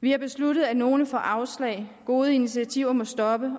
vi har besluttet at nogle får afslag at gode initiativer må stoppe og